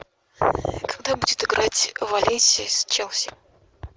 когда будет играть валенсия с челси